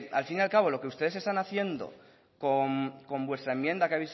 al fin y acabo lo que ustedes están haciendo con vuestra enmienda que